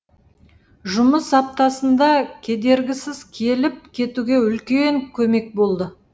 жұмыс аптасында кедергісіз келіп кетуге үлкен көмек болды